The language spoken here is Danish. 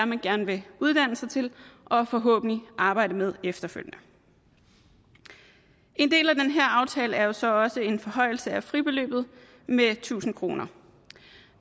man gerne vil uddanne sig til og forhåbentlig arbejde med efterfølgende en del af den her aftale er så også en forhøjelse af fribeløbet med tusind kroner